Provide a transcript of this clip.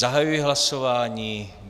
Zahajuji hlasování.